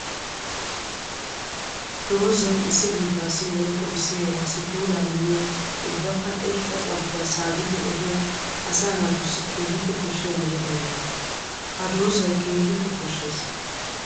Doozay issi biittassi woykko issi heerassi puula immiya ubbakka irxxa carkkuwa saabiddi ehiya asaa natussi keehippe koshiya meretta imotta. Ha doozay keehippe koshees.